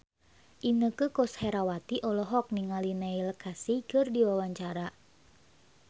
Inneke Koesherawati olohok ningali Neil Casey keur diwawancara